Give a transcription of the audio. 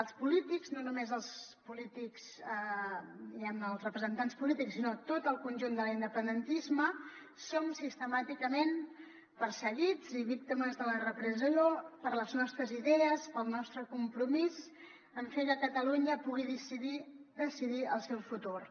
els polítics no només els polítics diguem ne els representants polítics sinó tot el conjunt de l’independentisme som sistemàticament perseguits i víctimes de la repressió per les nostres idees pel nostre compromís en fer que catalunya pugui decidir el seu futur